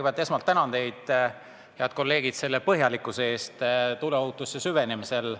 Ma kõigepealt tänan teid, head kolleegid, selle põhjalikkuse eest tuleohutusse süvenemisel.